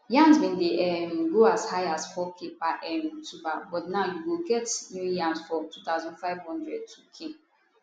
yams bin dey um go as high as 4k per um tuber but now you go get new yams for 2500 2k